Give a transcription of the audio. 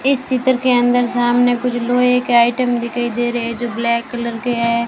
इस चित्र के अंदर सामने कुछ लोहे के आइटम दिखाई दे रहे है जो ब्लैक कलर के है।